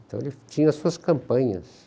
Então ele tinha as suas campanhas.